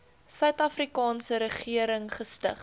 suidafrikaanse regering gestig